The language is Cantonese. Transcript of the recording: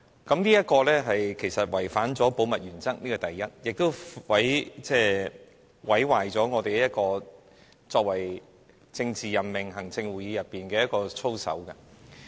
這其實違反了保密原則，這是其一，亦毀壞行政會議作為政治任命機構的操守。